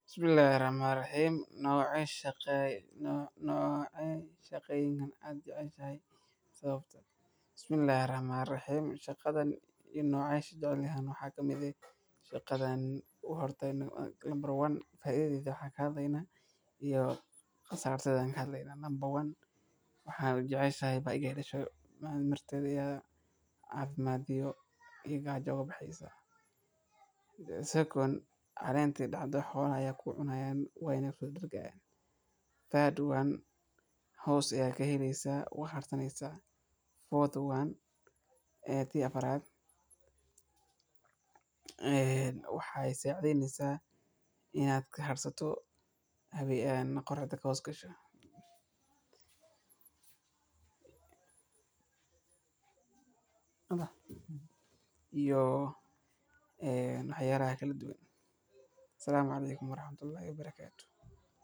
Bismillahir Rahmanir Rahim. Noqonay Shaqay no-noqonay shaqay in aan jeclaan yahay sababta. Bismillahir Rahmanir Rahim. Shaqadan iyo noocay shacal lehun waxaa kamid ah shaqadan uhurtay nag noqon ay nabar waan faaidi joo xag haddayna iyo khasaarteydan haddayna namba waan waxaad joceysho baagii hore sho maamirtedaya caafimaadyo iyo gaar jawab xaysa, second aleentay dhacdo xoollaya ku cunaya wayn ku dirgaan, third waan hoos ya ka helisa wax hartanaysa, fourth waan eeti aparad ee waxa isu cadhaysa in aadka harsato habiyee aan qorrada ka hooskasho. Iyo ee noocya raxae keliya duwan. Salaam kaleeykum raaxmahtullahi wabarakatu.